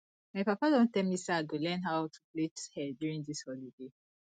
my papa don tell me say i go learn how to plait hair during dis holiday